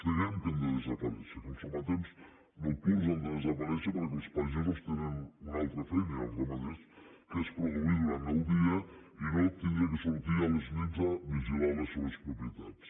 creiem que han de desaparèixer que els sometents nocturns han de desaparèixer perquè els pagesos tenen una altra feina i els ramaders que és produir durant el dia i no haver de sortir a les nits a vigilar les seues propietats